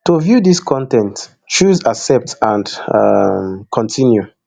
to view dis con ten t choose accept and um continue